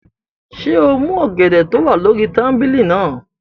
Ṣé o mú ọ̀gẹ̀dẹ̀ tó wà lórí tábìlì náà?